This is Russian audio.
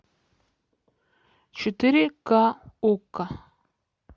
четыре ка окко